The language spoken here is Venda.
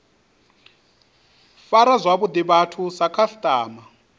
fara zwavhuḓi vhathu sa khasiṱama